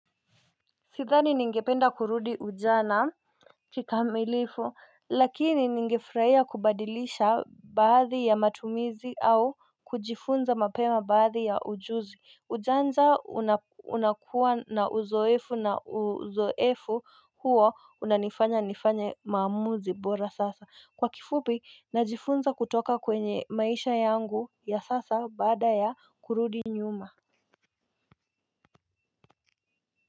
Sithani ningependa kurudi ujana kikamilifu lakini ningefurahia kubadilisha baadhi ya matumizi au kujifunza mapema baadhi ya ujuzi. Ujanja unakuwa na uzoefu na uzoefu huo unanifanya nifanye maamuzi bora sasa. Kwa kifupi najifunza kutoka kwenye maisha yangu ya sasa baada ya kurudi nyuma.